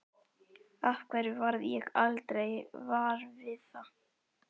Af hverju varð ég aldrei var við það?